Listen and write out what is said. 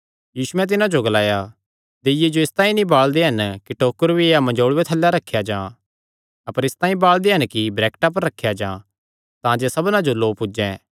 यीशुयैं तिन्हां जो ग्लाया दीय्ये जो इसतांई नीं बाल़दे हन कि डल्ला या मंजोल़ूये थल्लैं रखेया जां अपर इसतांई बाल़दे हन कि वरैक्टा पर रखेया जां